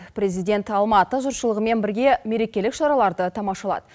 президент алматы жұртшылығымен бірге меркелік шараларды тамашалады